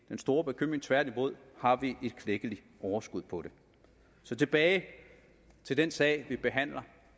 den store bekymring tværtimod har vi et klækkeligt overskud på det tilbage til den sag vi behandler